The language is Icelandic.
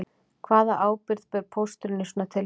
Hvaða ábyrgð ber pósturinn í svona tilfellum